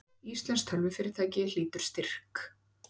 Íslenskt tölvufyrirtæki hlýtur styrk